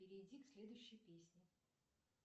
перейди к следующей песне